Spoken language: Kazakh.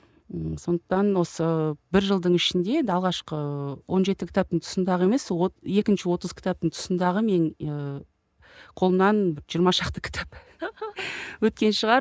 ыыы сондықтан осы бір жылдың ішінде енді алғашқы он жеті кітаптың тұсындағы емес екінші отыз кітап тұсындағы мен ііі қолымнан жиырма шақты кітап өткен шығар